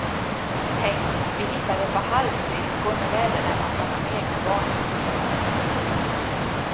Tänk, vi hittade ett par halvskridskor med läderremmar från de egna barndomsåren.